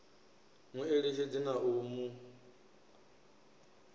mu eletshedze na u mu